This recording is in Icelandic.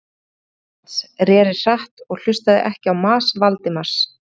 Ég reri til lands, reri hratt og hlustaði ekki á mas Valdimars.